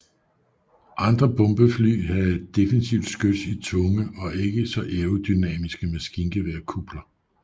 Andre bombefly havde defensivt skyts i tunge og ikke så aerodynamiske maskingeværkupler